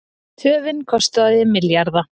Töfin kostaði milljarða